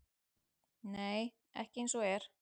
Nei, ekki eins og er.